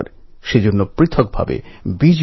এভাবেই নতুন ভারত সৃষ্টি হবে